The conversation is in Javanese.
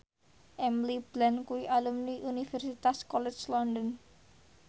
Emily Blunt kuwi alumni Universitas College London